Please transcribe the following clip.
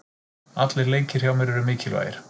Allir leikir hjá mér eru mikilvægir.